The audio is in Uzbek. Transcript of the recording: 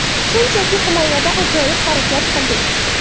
Shunchaki himoyada ajoyib harakat qildik.